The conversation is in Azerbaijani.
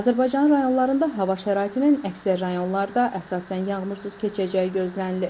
Azərbaycanın rayonlarında hava şəraitinin əksər rayonlarda əsasən yağmursuz keçəcəyi gözlənilir.